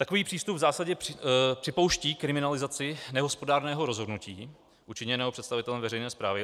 Takový přístup v zásadě připouští kriminalizaci nehospodárného rozhodnutí učiněného představitelem veřejné správy.